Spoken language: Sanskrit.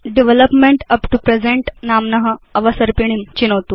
डेवलपमेंट उप् तो प्रेजेन्ट नाम्न अवसर्पिणीं चिनोतु